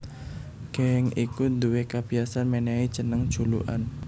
Geng iku duwé kabiyasan mènèhi jeneng julukan